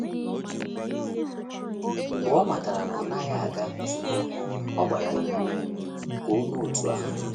Mgbe o matara na ọ naghị aga nzukọ, o gbara ya ume ka o mee otú ahụ.